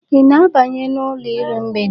Ị na-abanye n'ụlọ iru mgbede?